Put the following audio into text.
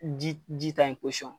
Ji ta yen